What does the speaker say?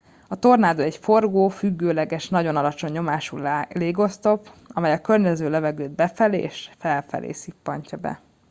a tornádó egy forgó függőleges nagyon alacsony nyomású légoszlop amely a környező levegőt befelé és felfelé szippantja be